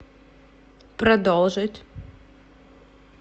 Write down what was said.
продолжить